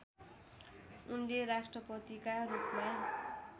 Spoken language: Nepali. उनले राष्ट्रपतिका रूपमा